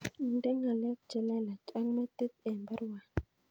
Inde ngalek chelelach ak metit en baruani